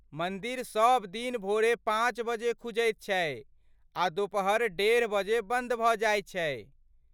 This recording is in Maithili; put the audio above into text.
मन्दिर सब दिन भोरे पाँच बजे खुजैत छै आ दुपहर डेढ़ बजे बन्द भऽ जाइत छै।